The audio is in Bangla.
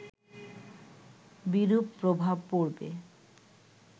বিরূপ প্রভাব পড়বে